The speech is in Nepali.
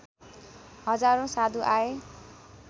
हजारौँ साधु आए